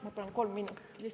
Ma palun kolm minutit lisa.